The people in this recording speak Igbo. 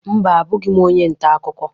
Mba, abụghị m onye nta akụkọ.